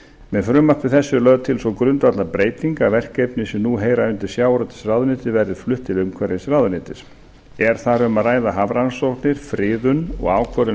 með frumvarpi þessu er lögð til sú grundvallarbreyting að verkefni sem nú heyrir undir sjávarútvegsráðuneyti verði flutt til umhverfisráðuneytis er þar um að ræða hafrannsóknir friðun og ákvörðun um